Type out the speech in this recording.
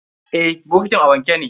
Eh, bokitin a wanke ne.